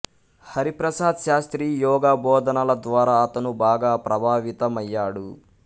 హరి ప్రసాద్ శాస్త్రి యోగా బోధనల ద్వారా అతను బాగా ప్రభావితమయ్యాడు